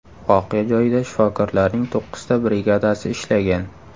Voqea joyida shifokorlarning to‘qqizta brigadasi ishlagan.